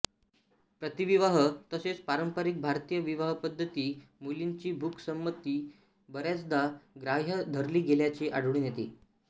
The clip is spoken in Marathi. प्रीतिविवाह तसेच पारंपरिक भारतीय विवाहपद्धतीत मुलींची मूकसंमती बऱ्याचदा ग्राह्य धरली गेल्याचे आढळून येते